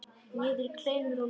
Niður í kleinur og mjólk.